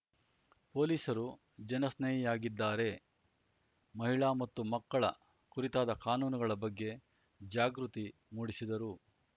ಪೊಲೀಸರು ಜನಸ್ನೇಹಿಯಾಗಿದ್ದಾರೆ ಮಹಿಳಾ ಮತ್ತು ಮಕ್ಕಳ ಕುರಿತಾದ ಕಾನೂನುಗಳ ಬಗ್ಗೆ ಜಾಗೃತಿ ಮೂಡಿಸಿದರು